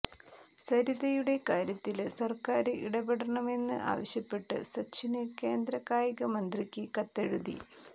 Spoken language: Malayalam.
സരിതയുടെ കാര്യത്തില് സര്ക്കാര് ഇടപെടണമെന്ന് ആവശ്യപ്പെട്ട് സച്ചിന് കേന്ദ്ര കായികമന്ത്രിക്ക് കത്തെഴുതി